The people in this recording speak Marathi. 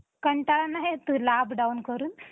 हो.